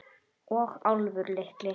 Og Álfur litli.